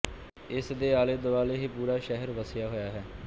ਇਸ ਦੇ ਆਲੇ ਦੁਆਲੇ ਹੀ ਪੂਰਾ ਸ਼ਹਿਰ ਵਸਿਆ ਹੋਇਆ ਹੈ